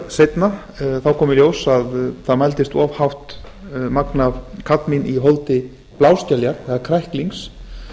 seinna kom í ljós að það mældist of hátt magn af kadmín í holdi bláskeljar eða kræklings